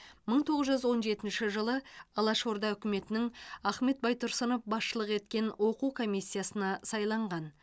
мың тоғыз жүз он жетінші жылы алашорда үкіметінің ахмет байтұрсынов басшылық еткен оқу комиссиясына сайланған